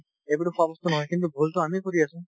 এইবোৰতো খোৱা বস্তু নহয় কিন্তু ভূলটো আমি কৰি আছো